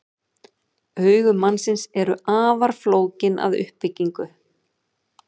Augu mannsins eru afar flókin að uppbyggingu.